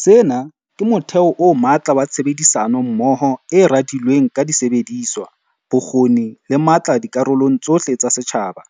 Sena ke motheo o matla wa tshebedisano mmoho e radilweng ka disebediswa, bokgoni le matla dikarolong tsohle tsa setjhaba.